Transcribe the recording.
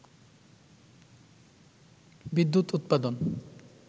বিদ্যুৎ উৎপাদন